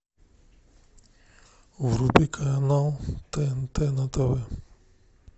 вруби канал тнт на тв